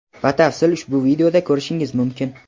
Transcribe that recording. batafsil ushbu videoda ko‘rishingiz mumkin).